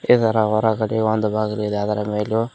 ಇದರ ಹೊರಗಡೆ ಒಂದು ಬಾಗಿಲು ಇದೆ ಅದರ ಮೇಲು--